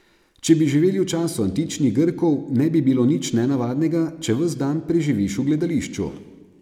Če bi živeli v času antičnih Grkov, ne bi bilo nič nenavadnega, če ves dan preživiš v gledališču.